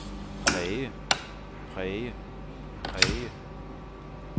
præge præge præge